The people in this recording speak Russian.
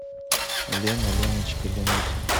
лена леночка ленуся